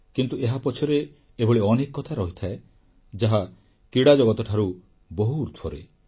କିନ୍ତୁ ଏହା ପଛରେ ଏଭଳି ଅନେକ କଥା ରହିଥାଏ ଯାହା କ୍ରୀଡ଼ାଜଗତଠାରୁ ବହୁ ଉର୍ଦ୍ଧ୍ବରେ